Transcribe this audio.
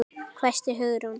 hvæsti Hugrún.